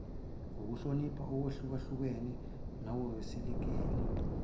ngohlonipha ukwehlukahlukana nangokwesekela